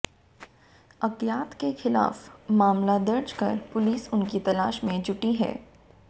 अज्ञात के खिलाफ मामला दर्ज कर पुलिस उनकी तलाश में जुटी है